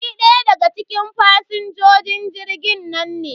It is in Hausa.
Ni ɗaya daga cikin fasinjojin jirgin nan ne.